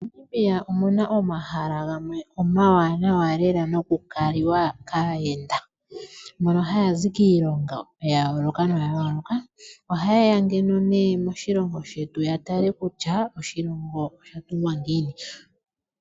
MoNamibia omuna omahala gamwe omawanawa lela no ku kali wa kaayenda, mbono haya zi kiilongo ya yooloka noya yooloka. Ohaye ya ngeno nee moshilongo shetu ya tale kutya oshilongo osha tungwa ngiini.